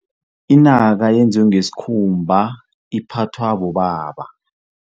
Inaka yenziwe ngesikhumba, iphathwa bobaba.